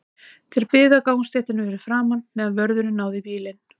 Þeir biðu á gangstéttinni fyrir framan, meðan vörðurinn náði í bílinn.